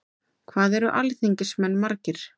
Hvað eru alþingismenn margir?